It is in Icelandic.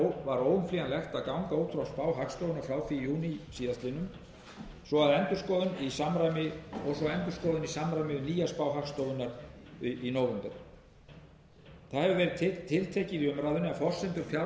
og í raun var óumflýjanlegt að ganga út frá spá hagstofunnar frá því í júní síðastliðinn og svo endurskoðun í samræmi við nýja spá hagstofunnar í nóvember tiltekið hefur verið í umræðunni að forsendur fjárlaga séu þegar brostnar rétt eins og þau séu sett orðin vegna